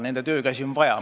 Nende töökäsi on vaja.